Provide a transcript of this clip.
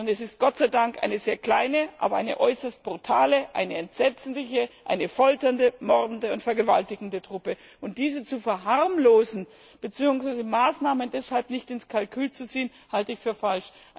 Sondern es ist Gott sei Dank eine sehr kleine, aber eine äußerst brutale, eine entsetzliche, eine folternde, mordende und vergewaltigende Truppe. Diese zu verharmlosen beziehungsweise Maßnahmen deshalb nicht ins Kalkül zu ziehen, halte ich für falsch.